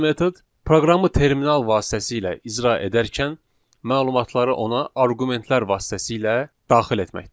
ikinci metod proqramı terminal vasitəsilə icra edərkən məlumatları ona arqumentlər vasitəsilə daxil etməkdir.